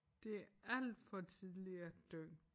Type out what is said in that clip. Det alt for tidligt at dø